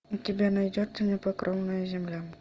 у тебя найдется непокорная земля